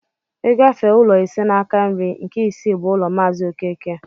I gafee ụlọ ise n'aka nri, nke isii bụ ụlọ maazi okeke